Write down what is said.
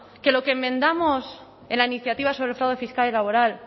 que lo que enmendamos en la iniciativa sobre el fraude fiscal y laboral